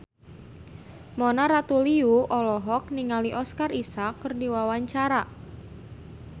Mona Ratuliu olohok ningali Oscar Isaac keur diwawancara